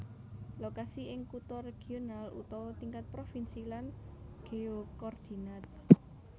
Lokasi ing kutha regional utawa tingkat provinsi lan geokordinat